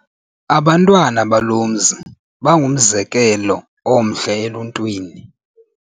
Abantwana balo mzi bangumzekelo omhle eluntwini.